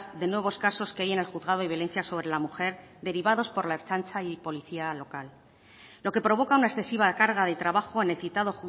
de nuevos casos que hay en el juzgado de violencia sobre la mujer derivados por la ertzaintza y policía local lo que provoca una excesiva carga de trabajo en el citado